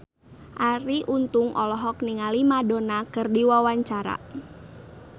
Arie Untung olohok ningali Madonna keur diwawancara